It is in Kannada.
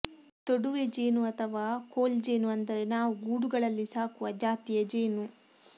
ತೊಡುವೆ ಜೇನು ಅಥವಾ ಕೋಲ್ಜೇನು ಅಂದರೆ ನಾವು ಗೂಡುಗಳಲ್ಲಿ ಸಾಕುವ ಜಾತಿಯ ಜೇನು